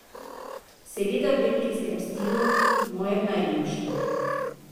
Seveda v belgijskem stilu, mojem najljubšem.